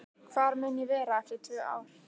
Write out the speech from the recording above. Hvar mun ég vera eftir tvö ár?